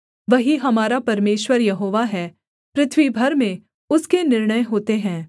वही हमारा परमेश्वर यहोवा है पृथ्वी भर में उसके निर्णय होते हैं